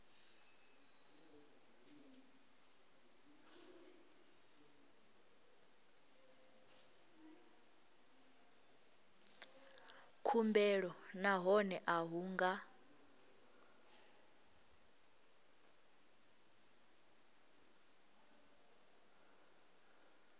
khumbelo nahone a hu nga